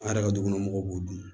An yɛrɛ ka dukɔnɔmɔgɔw b'o dun